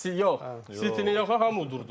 Yox, City-ni yox, hamı udurdu.